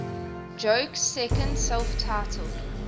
joke's second self titled